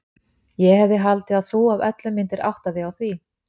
Ég hefði haldið að þú af öllum myndir átta þig á því.